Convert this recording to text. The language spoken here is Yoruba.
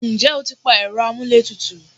ǹjẹ́ o ti pa ẹ̀rọ amúlé tutù?